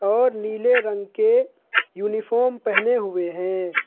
और नीले रंग के यूनिफॉर्म पहने हुए हैं।